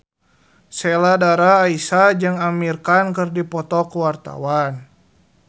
Sheila Dara Aisha jeung Amir Khan keur dipoto ku wartawan